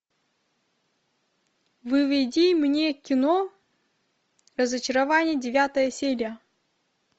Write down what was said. выведи мне кино разочарование девятая серия